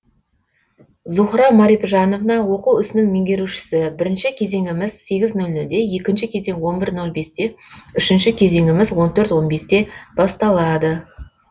зухра марипжановна оқу ісінің меңгерушісі бірінші кезеңіміз сегіз нолнол де екінші кезең он бір нол бесте үшінші кезеңіміз он төрт он бесте басталады